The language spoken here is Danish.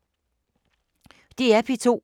DR P2